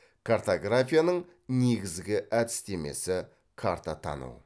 картографияның негізгі әдістемесі картатану